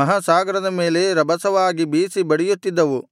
ಮಹಾಸಾಗರದ ಮೇಲೆ ರಭಸವಾಗಿ ಬೀಸಿ ಬಡಿಯುತ್ತಿದ್ದವು